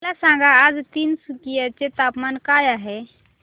मला सांगा आज तिनसुकिया चे तापमान काय आहे